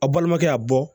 A balimakɛ y'a bɔ